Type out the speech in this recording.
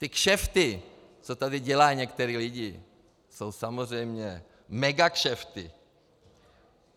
Ty kšefty, co tady dělají někteří lidé, jsou samozřejmě megakšefty.